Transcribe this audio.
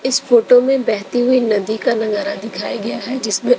इस फोटो में बहती हुई नदी का नजारा दिखाया गया है जिसमें--